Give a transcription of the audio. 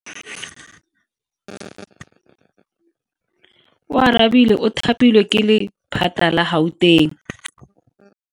Oarabile o thapilwe ke lephata la Gauteng.